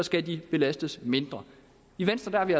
skal belastes mindre i venstre er vi